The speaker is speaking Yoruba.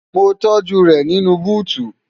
mo tọ́́jú rẹ̀ nínú búùtù